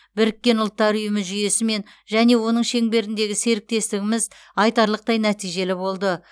біріккен ұлттар ұйымы жүйесімен және оның шеңберіндегі серіктестігіміз айтарлықтай нәтижелі болды